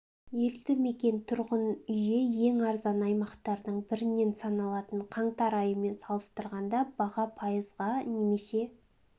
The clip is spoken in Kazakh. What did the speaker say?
елді мекен тұрғын үйі ең арзан аймақтардың бірінен саналатын қаңтар айымен салыстырғанда баға пайызға немесе